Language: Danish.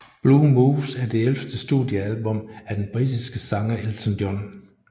Blue Moves er det ellevte studiealbum af den britiske sanger Elton John